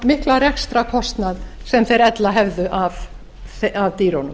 mikla rekstrarkostnað sem þeir ella hefðu af dýrunum